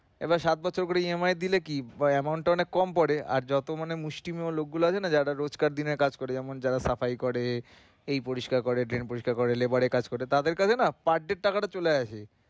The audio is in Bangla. তবে সাত বছর ধরে EMI দিলে কি amount টা অনেক কম পরে আর যত মানে মুষ্টিমেয় লোকগুলা আছেনা যারা রোজকার দিনের কাজ করে যেমন যারা টাকা ইয়ে করে পরিষ্কার করে drain পরিষ্কার করে labour এর কাজ করে তাদের কাছে না per day এর টাকা টা চলে আসে